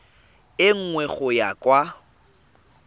e nngwe go ya kwa